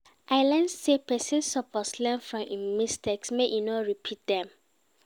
I learn sey pesin suppose learn from im mistakes, make e no repeat dem.